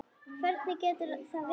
Hvernig getur það verið?